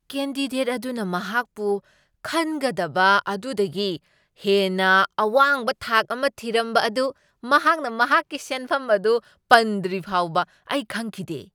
Candidate ꯑꯗꯨꯅ ꯃꯍꯥꯛꯄꯨ ꯈꯟꯒꯗꯕ ꯑꯗꯨꯗꯒꯤ ꯍꯦꯟꯅ ꯑꯋꯥꯡꯕ ꯊꯥꯛ ꯑꯃ ꯊꯤꯔꯝꯕ ꯑꯗꯨ ꯃꯍꯥꯛꯅ ꯃꯍꯥꯛꯀꯤ ꯁꯦꯟꯐꯝ ꯑꯗꯨ ꯄꯟꯗ꯭ꯔꯤ ꯐꯥꯎꯕ ꯑꯩ ꯈꯪꯈꯤꯗꯦ ꯫